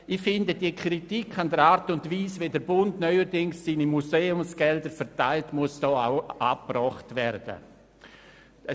» Ich finde, dass die Kritik an der Art und Weise, wie der Bund neuerdings seine Museumsgelder verteilt, hier angebracht werden muss.